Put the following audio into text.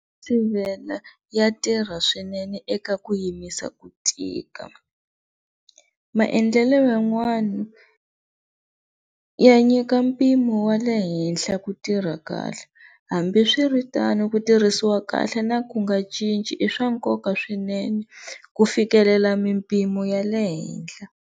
ya tirha swinene eka ku yimisa ku tika, maendlelo yan'wana ya nyika mpimo wa le henhla ku tirha kahle hambiswiritano ku tirhisiwa kahle na ku nga cinci i swa nkoka swinene ku fikelela mimpimo ya le henhla.